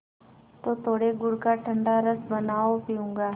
तो थोड़े गुड़ का ठंडा रस बनाओ पीऊँगा